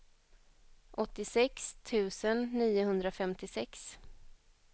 åttiosex tusen niohundrafemtiosex